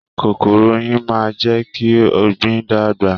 Kòkòrò oyin máa n jẹ kí ọgbin dàgbà.